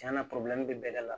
Cɛn na bɛ bɛɛ da la